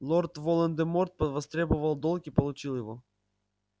лорд волан де морт повостребовал долг и получил его